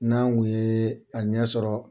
N'an kun ye a ɲɛ sɔrɔ.